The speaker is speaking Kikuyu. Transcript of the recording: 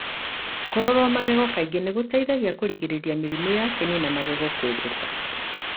Kũrorwo magego kaingĩ nĩguteithagia kũrigĩrĩria mĩrimũ ya kĩnĩ na megego kwenjeka.